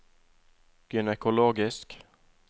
gynekologisk